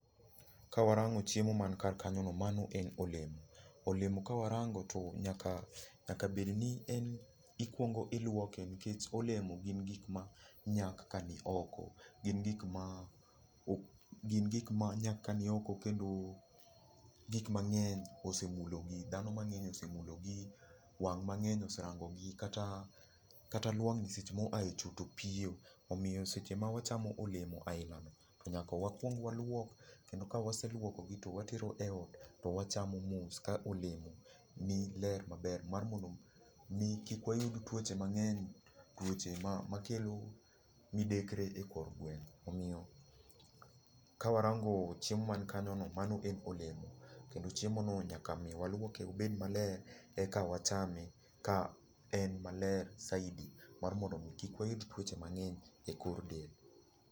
Kawarango chiemo man kar kanyono, mano en olemo. Olemo ka warango to nyaka bed ni en ikuongo iluoke, nikech olemo en gik manyak ka nioko. Gin gik maa, gin gik manyak ka nioko. Kendo gik mang'eny osemulo gi dhano mang'eny osemulo gi, wang' mang'eny oserango gi. Kata luang' ni seche ma oa e cho to piyo. Omiyo seche ma wachamo olemo ainano, to nyaka wakuong waluok kendo ka wase luokogi to watero eot to wachamo mos ka olemo maler maber, mi kik wayud tuoche mang'eny tuoche makelo midekre ekor gweng', omiyo ka warango chiemo man kanyono mano en olemo. Kendo chiemono nyaka mi waluoke obed maler eka wachame ka en maler saidi mar mon do mi kik wayud tuoche mang'eny ekor del.